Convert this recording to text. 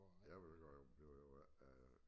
Jeg ved jo godt bliver jo ikke øh